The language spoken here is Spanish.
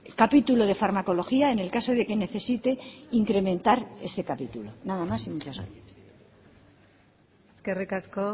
capítulo de farmacología en el caso de que necesite incrementar ese capítulo nada más y muchas gracias eskerrik asko